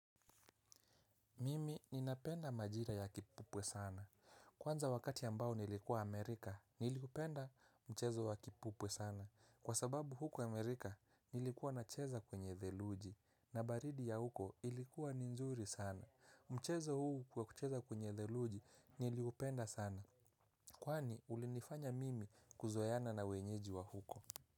Mimi, ninapenda majira ya kipupwe sana. Kwanza wakati ambao nilikuwa Amerika, nilipenda mchezo wa kipupwe sana. Kwa sababu huko Amerika, nilikuwa na cheza kwenye dheluji. Na baridi ya huko ilikuwa ni nzuri sana. Mchezo huu kwa cheza kwenye dheluji, niliupenda sana. Kwani, ulinifanya mimi kuzoeana na wenyeji wa huko.